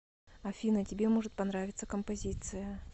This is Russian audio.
афина тебе может понравиться композиция